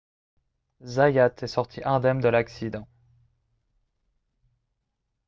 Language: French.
zayat est sorti indemne de l'accident